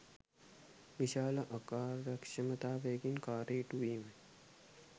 විශාල අකාර්යක්ෂමතාවකින් කාර්යය ඉටුවීමයි